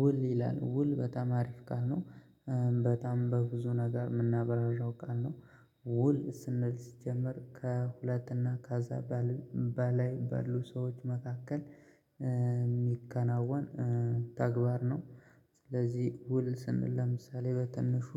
ውል ይላል ውል በጣም አሪፍ ቃል ነው በጣም በብዙ ነገር የምናብራራው ቃል ነው። ውል ስንል ሲጀመር ከሁለትና ከኢዚያ በላይ ባሉ ሰዎች መካከል የሚከናወን ተግባር ነው። ስለዚህ ውል ስንል ለምሳሌ በትንሹ